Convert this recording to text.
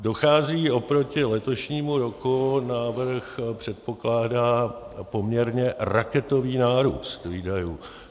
Dochází oproti letošnímu roku, návrh předpokládá poměrně raketový nárůst výdajů.